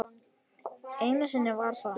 Einu sinni var það